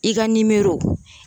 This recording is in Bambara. I ka nimoro